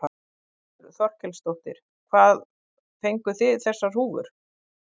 Þórhildur Þorkelsdóttir: Hvað fenguð þið þessar húfur?